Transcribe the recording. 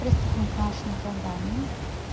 приступил к нашему заданию